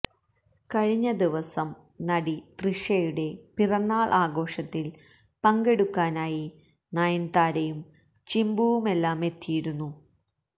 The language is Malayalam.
കഴിഞ്ഞ ദിവസം നടി തൃഷയുടെ പിറന്നാള് ആഘോഷത്തില് പങ്കെടുക്കാനായി നയന്താരയും ചിമ്പുവുമെല്ലാമെത്തിയിരുന്നു